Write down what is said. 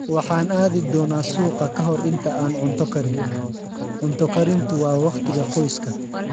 Waxaan aadi doonaa suuqa ka hor inta aan cunto karin. Cunto karintu waa wakhtiga qoyska.